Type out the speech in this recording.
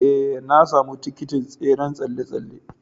Ee, na sami tikitin tseren tsalle-tsalle.